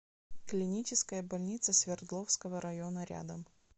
клиническая больница свердловского района рядом